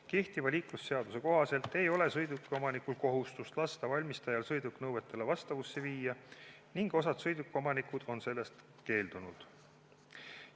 Kehtiva liiklusseaduse kohaselt ei ole sõidukiomanikul kohustust lasta valmistajal sõiduk nõuetele vastavusse viia ning osa sõidukiomanikke on sellest keeldunud.